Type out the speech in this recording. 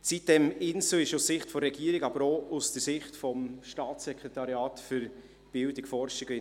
Die sitem-Insel ist aus Sicht der Regierung, aber auch aus Sicht des SBFI sehr gut unterwegs.